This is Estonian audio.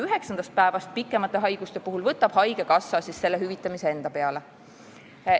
Üheksandast päevast, pikemate haiguste puhul, võtab haigekassa hüvitamise enda peale.